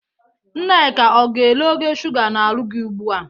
Nneka, ọ ga-ele ogo shuga n'arụ gi ugbu a?